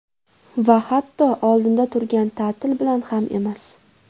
Va hatto oldinda turgan ta’til bilan ham emas.